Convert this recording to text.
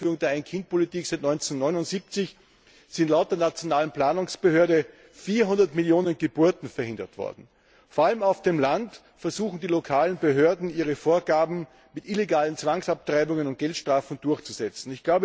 Seit der Einführung der Ein Kind Politik im Jahr 1979 sind laut der nationalen Planungsbehörde 400 Millionen Geburten verhindert worden. Vor allem auf dem Land versuchen die lokalen Behörden, ihre Vorgaben mit illegalen Zwangsabtreibungen und Geldstrafen durchzusetzen.